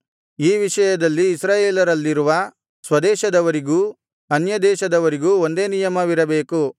ಈ ವಿಷಯದಲ್ಲಿ ಇಸ್ರಾಯೇಲರಲ್ಲಿರುವ ಸ್ವದೇಶದವರಿಗೂ ಅನ್ಯದೇಶದವರಿಗೂ ಒಂದೇ ನಿಯಮವಿರಬೇಕು